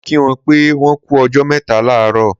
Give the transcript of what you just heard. Mo kí wọn pé wọ́n kú ọjọ́ mẹ́ta láàárọ̀